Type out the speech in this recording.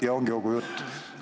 ... ja ongi kogu jutt?